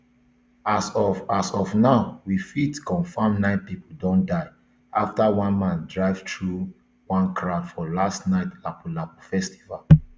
as of of now we fit confam nine pipo don die afta one man drive through one crowd for last night lapu lapu festival